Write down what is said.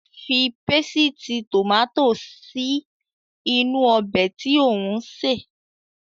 Fi pésìtì tòmátò sí inú ọbẹ̀ tí ò ń sè.